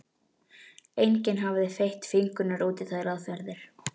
Enginn hafði fett fingur út í þær aðferðir.